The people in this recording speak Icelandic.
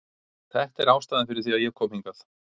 Þetta er ástæðan fyrir því að ég kom hingað.